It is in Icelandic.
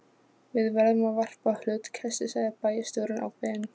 Við verðum að varpa hlutkesti sagði bæjarstjórinn ákveðinn.